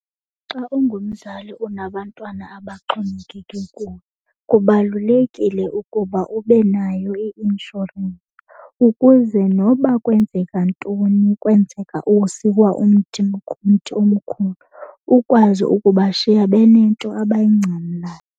Xa ungumzali unabantwana abaxhomekeke kuwe kubalulekile ukuba ube nayo i-inshorensi ukuze noba kwenzeka ntoni kwenzeka usikwa umthi ngumthi omkhulu ukwazi ukubashiya benento abayingcamlayo.